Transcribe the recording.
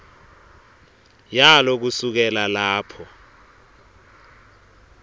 yalo kusukela lapho